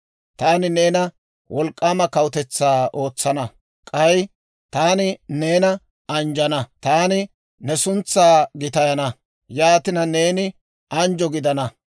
Taani neena wolk'k'aama kawutetsaa ootsana; k'ay taani neena anjjana; taani ne suntsaa gitayana; yaatina neeni anjjo gidana;